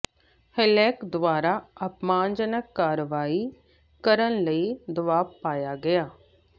ਹੇਲੈਕ ਦੁਆਰਾ ਅਪਮਾਨਜਨਕ ਕਾਰਵਾਈ ਕਰਨ ਲਈ ਦਬਾਅ ਪਾਇਆ ਗਿਆ